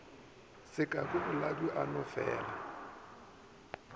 sekaku boladu a no felaa